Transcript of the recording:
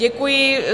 Děkuji.